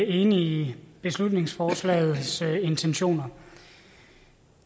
i beslutningsforslagets intentioner